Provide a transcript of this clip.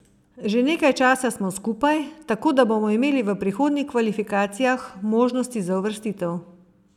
Že nekaj smo časa skupaj, tako da bomo imeli v prihodnjih kvalifikacijah možnosti za uvrstitev.